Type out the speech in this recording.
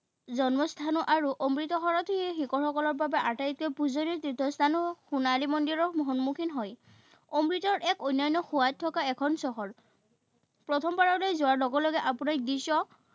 জন্মস্থানো আৰু অমৃতসৰটি শিখসকলৰ বাবে আটাইতকৈ পুজনীয় তীৰ্থস্থানো সোণালী মন্দিৰৰ সন্মুখীন হয়। অমৃতৰ এক অন্যান্য সোৱাদ থকা এখন চহৰ। প্ৰথমবাৰলৈ যোৱাৰ লগে লগে আপোনাক দৃশ্য